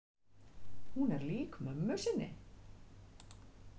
Hún er lík mömmu sinni.